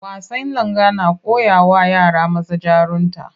Wasan Langa na koyawa yara maza jarunta